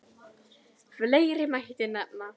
Fleiri mætti nefna.